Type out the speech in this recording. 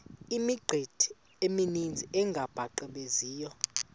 imithqtho emininzi engabaqbenzi